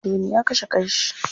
Anthony ya kashe kan shi.